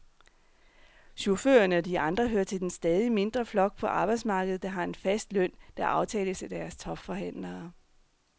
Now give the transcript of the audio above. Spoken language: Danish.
Chaufførerne og de andre hører til den stadig mindre flok på arbejdsmarkedet, der har en fast løn, der aftales af deres topforhandlere.